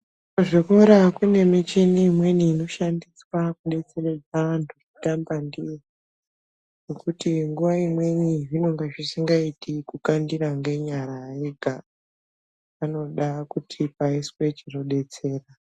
Kuzvikora kune michini imweni inoshandiswa kubetseredza antu kutamba ndiyo. Ngekuti nguva imweni zvinonga zvisingaiti kukandira ngenyara ega, panoda kuti paiswe chinobetsera